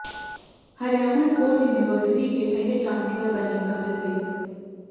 Haryana sports university के पहले chancellor बने कपिल देव